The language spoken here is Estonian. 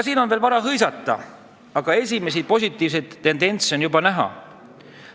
Veel on vara hõisata, aga esimesi positiivseid tendentse on juba näha.